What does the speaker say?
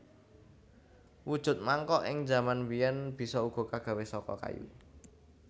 Wujud mangkok ing jaman biyen bisa uga kagawe saka kayu